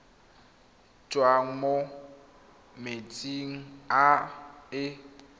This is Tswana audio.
tswang mo metsing a e